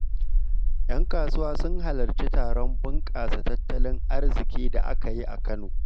‘Yan kasuwa sun halarci taron bunƙasa tattalin arziki da aka yi a Kano.